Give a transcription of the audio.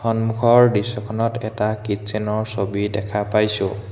সন্মুখৰ দৃশ্যখনত এটা কিটচ্চেন ৰ ছবি দেখা পাইছোঁ।